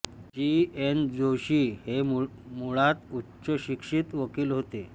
जी N Joshi हे मुळात उच्चशिक्षित वकील होते